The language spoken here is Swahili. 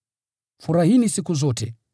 Furahini siku zote;